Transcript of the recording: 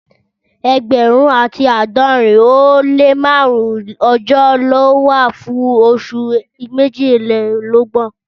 Ẹẹgbẹrun ati aadọrin o le márùn ọjọ ló wà fún osun mejilelogbon.